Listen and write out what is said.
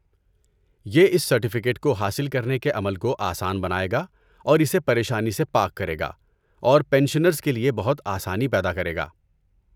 یہ اس سرٹیفکیٹ کو حاصل کرنے کے عمل کو آسان بنائے گا اور اسے پریشانی سے پاک کرے گا اور پنشنرز کے لیے بہت آسانی پیدا کرے گا۔